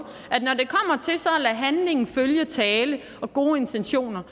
er handling følge tale og gode intentioner